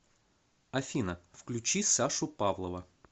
афина включи сашу павлова